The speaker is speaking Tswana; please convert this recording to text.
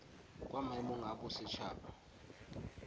kwa maemong a boset haba